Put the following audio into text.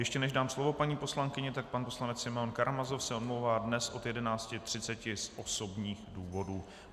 Ještě než dám slovo paní poslankyni, tak pan poslanec Simeon Karamazov se omlouvá dnes od 11.30 z osobních důvodů.